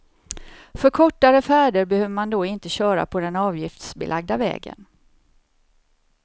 För kortare färder behöver man då inte köra på den avgiftsbelagda vägen.